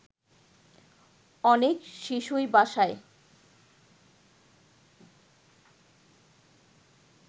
অনেক শিশুই বাসায়